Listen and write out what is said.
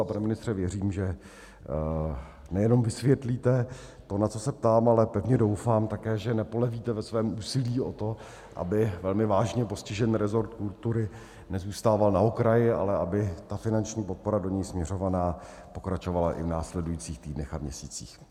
A pane ministře, věřím, že nejenom vysvětlíte to, na co se ptám, ale pevně doufám také, že nepolevíte ve svém úsilí o to, aby velmi vážně postižený resort kultury nezůstával na okraji, ale aby ta finanční podpora do něj směřovaná pokračovala i v následujících týdnech a měsících.